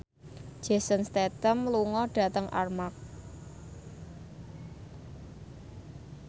Jason Statham lunga dhateng Armargh